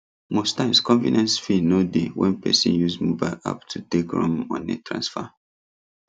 most times convenience fee no dey when person use mobile app take run money transfer